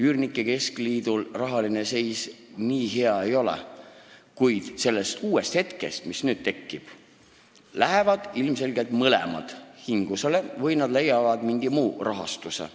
Üürnike liidu rahaline seis nii hea ei ole, kuid sellest uuest hetkest, mis nüüd tekib, lähevad ilmselgelt mõlemad hingusele või nad leiavad mingi muu rahastuse.